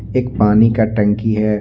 एक पानी का टंकी है।